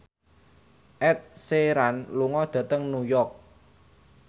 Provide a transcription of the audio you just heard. Ed Sheeran lunga dhateng New York